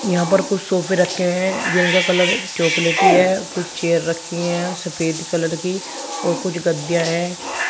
यहां पर कुछ सोफे रखे हैं जिनका कलर चॉकलेटी है कुछ चेयर रखी है सफेद कलर की और कुछ गद्दे हैं।